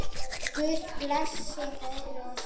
Guð blessi Þóru og Sigga.